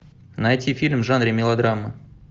найти фильм в жанре мелодрама